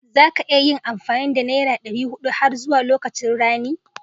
Za ka iya yin amfani da nera ɗari huɗu har zuwa lokacin rani